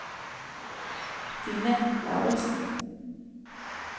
Dina Lauritzen